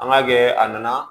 An ga kɛ a nana